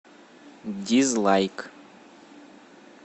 дизлайк